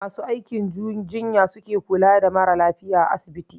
Masu aikin jinya su suke kula da mara lafiya asibiti